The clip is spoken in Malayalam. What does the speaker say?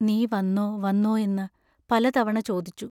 നീ വന്നോ വന്നോ എന്നു പല തവണ ചോദിച്ചു.